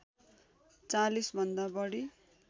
४० भन्दा बढी